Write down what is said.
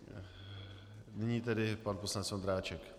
Nyní tedy pan poslanec Ondráček.